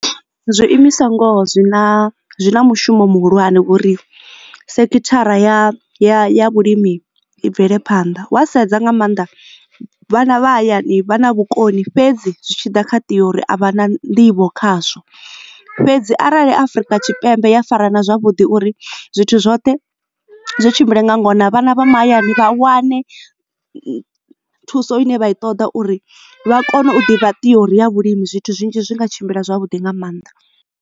Zwiimiswa ngoho zwina zwina mushumo muhulwane ngori sekithara ya ya ya vhulimi i bvelephanḓa wa sedza nga mannḓa vhana vha hayani vha na vhukoni fhedzi zwi tshi ḓa kha theory a vha na nḓivho khazwo. Fhedzi arali Afurika Tshipembe ya fara na zwavhuḓi uri zwithu zwoṱhe zwi tshimbile nga ngona vhana vha mahayani vha wane thuso ine vha i ṱoḓa uri vha kone u ḓivha theory ya vhulimi zwithu zwinzhi zwi nga tshimbila zwavhuḓi nga maanḓa.